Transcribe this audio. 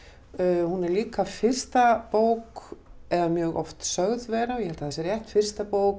hún er líka fyrsta bók eða mjög oft sögð vera ég held að það sé rétt fyrsta bók